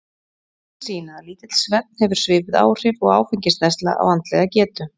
rannsóknir sýna að lítill svefn hefur svipuð áhrif og áfengisneysla á andlega getu